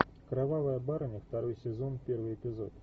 кровавая барыня второй сезон первый эпизод